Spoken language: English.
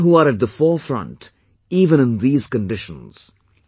People who are at the forefront even in these conditions